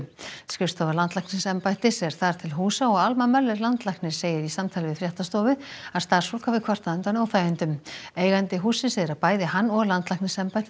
skrifstofa landlæknisembættis er þar til húsa og Alma Möller landlæknir segir í samtali við fréttastofu að starfsfólk hafi kvartað undan óþægindum eigandi hússins segir að bæði hann og landlæknisembættið